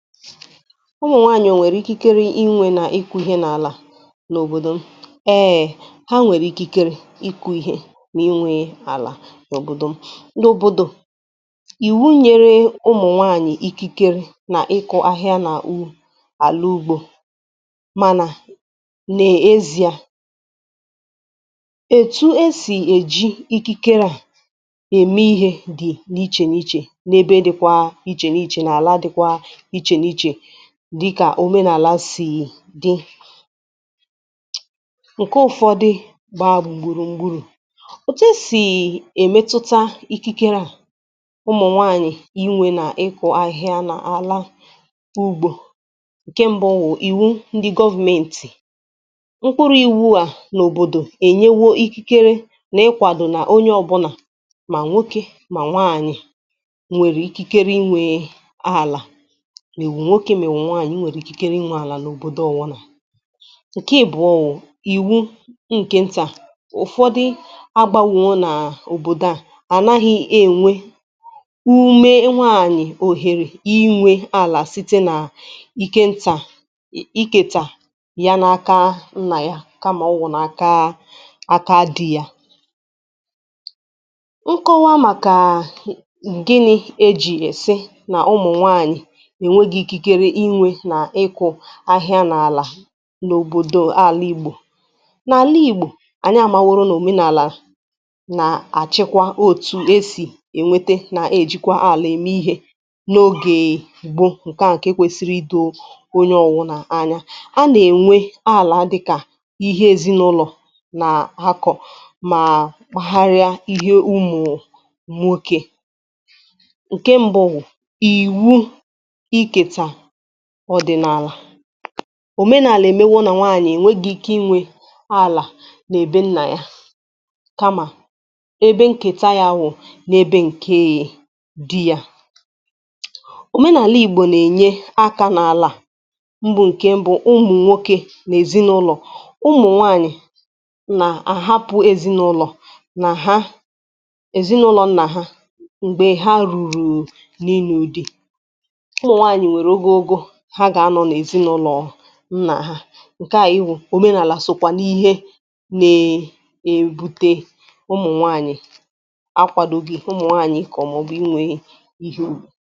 Ụmụ̀ nwaànyị̀ ọ̀ nwèrè ikikere inwė na ịkụ ihe n’àlà? Eé! Ha nwere ikikere ịkụ Ihe na inwe ala n'òbòdò m. N’òbòdò m, ìwu nyere ụmụ̀ nwaànyị̀ ikikere na ịkụ ahịa n’àlà ugbȯ mànà n'èziá ètù e sì èji ikikere à ème ihe dị̀ n’ichè n’ichè n’ebe dịkwȧ ichè n’ichè n'àla dịkwȧ iche n'iche dịkà òmenaàla sì dị̇ ǹke ụ̀fọdụ gbàa gbùrù m̀gbùrù. Otù e siì èmetụta ikikere à ụmụ̀ nwaànyị̀ inwė nà ịkụ̀ ahịhịa n’àla ugbȯ. Nke mbụ wụ̀ ìwu ndị government. Mkpụrụ̇ iwu à n’òbòdò ènyéwȯ ikikere n'ịkwàdo onye ọbụnà mà nwoke mà nwaànyị̀ nwèrè ikikere inwė àlà ma ị wụ nwoke ma ị wụ nwáànyị̀, I nwere ikikere inwe àlà n’òbòdò ọwụnà. Nkẹ̀ ịbụọ wụ ìwụ ǹkẹ̀ ntà. Ụfọdị àgbáwò nà òbòdò à ànaghị enwe ume inye nwaànyị ohèrè inwė àlà site nà ikẹ ntà iikẹtà ya n’aka nnà ya kamà ọ wụ̀ n'aka dì ya. Nkọwa màkà gịnị e jì sị nà ụmụ̀ nwaànyị enweghị ike inwe na ịkụ aịhịa n’àlà n’òbòdò àlà Igbò. N'àla Igbò, ànyị àmàworo nà òmenaàlà nà-àchịkwa otu esì ènwete nà ejikwa àlà eme ihe n’ogè gbo ǹkè wụ̀ ǹkè kwesịrị idò onye ọwụ̀nà anya. A nà-ènwé àlà dịkà ihe èzinàụlọ̀ nà-akọ̀ mà karịa ihe ụmụ̀ nwoke. Nkè mbụ wụ iwu iketa ọdịnaala. Omenààlà èmewo nà nwaanyị̀ ènweghi ike inwė alà nà be nnà ya kamà ebe nkèta ya wụ̀ n'ebe ǹke e di yȧ. Omenààlà Igbò nà-ènye akȧ n’àlà m̀bụ ǹkè m̀bụ ụmụ̀ nwokė n’èzinụlọ̀, ụmụ̀ nwaanyị̀ nà-àhapụ̀ èzinụlọ̀ nà ha èzinụlọ nnà ha m̀gbè ha rùrù n’inụ di. Ụmụ nwaanyị nwere ogó ogó ha ga-anọ n'ezinaụlọọ̀ nna ha, ǹkè a òmenaàlà sokwà n'ihe na-ebute ụmụ̀ nwaànyị̀ akwàdògị̇ ụmụ̀ nwaànyị̀ ịkọ maọwụ inwė ihe ùbì.